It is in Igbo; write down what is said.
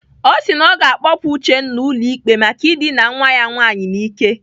O si na ọ ga-akpọpụ Uchenna ụlọikpe maka idina nwa ya nwaanyị n'ike.